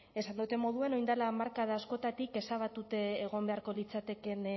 esan dodan moduan orain dela hamarkada askotatik ezabatuta egon beharko liratekeen